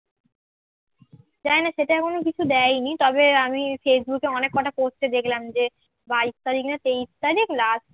জানিনা সেটা এখনো কিছু দেয়নি তবে আমি ফেসবুকে অনেক কটা post এ দেখলাম যে বাইশ তারিখ না তেইশ তারিখ last